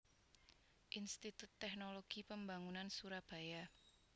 Institut Teknologi Pembangunan Surabaya